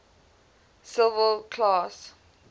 civil class